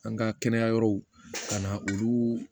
An ka kɛnɛya yɔrɔw ka na olu